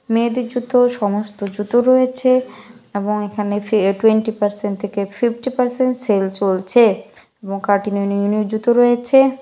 মেয়েদের জুতো সমস্ত জুতো রয়েছে এবং এখানে ফ টোয়েন্টি পার্সেন্ট থেকে ফিফটি পার্সেন্ট সেল চলছে এবং মো কার্টিং -এর নিউ নিউ জুতো রয়েছে ।